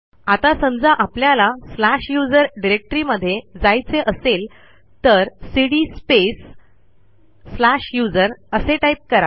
आता समजा आपल्याला स्लॅश यूएसआर डिरेक्टरीमध्ये जायचे असेल तर सीडी स्पेस स्लॅश यूएसआर असे टाईप करा